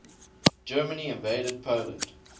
germany invaded poland